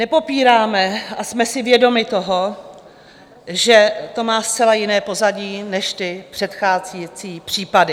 Nepopíráme a jsme si vědomi toho, že to má zcela jiné pozadí než ty předchozí případy.